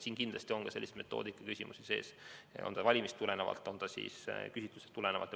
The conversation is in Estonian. Siin on kindlasti ka metoodikaküsimusi sees, on need siis valimist tulenevad või küsitlusest tulenevad.